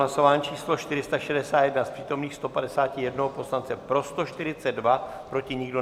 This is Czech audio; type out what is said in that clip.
Hlasování číslo 461, z přítomných 151 poslance pro 142, proti nikdo.